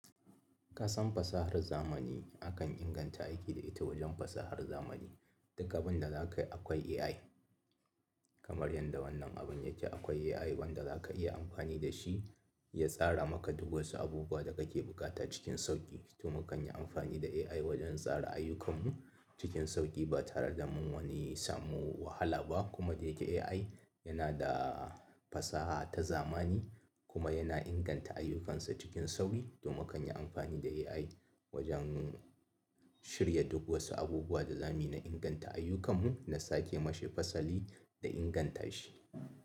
Kasan fasahar zamani akan inganta aiki da ita wajen fasahar zamani. Dukkan abin da za ka yi akwai AI. Kamar yadda wannan abin yake akwai AI wanda za ka iya amfani da shi ya tsara maka duk wasu abubuwa da kake bukata cikin sauƙi. To, mu kan yi amfani da AI wajen tsara ayyukanslmu cikin sauƙi ba tare da mun wani samu wahala ba. Kuma da yake AI yana da fasaha ta zamani kuma yana inganta ayyukansa cikin sauƙi. To, mu kan yi amfani da AI wajen shirya duk wasu abubuwa da zamuyi na inganta ayyukanmu na sake mashi fasali da inganta shi.